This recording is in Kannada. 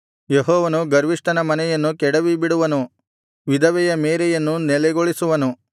ಯೆಹೋವನು ಗರ್ವಿಷ್ಠನ ಮನೆಯನ್ನು ಕೆಡವಿಬಿಡುವನು ವಿಧವೆಯ ಮೇರೆಯನ್ನು ನೆಲೆಗೊಳಿಸುವನು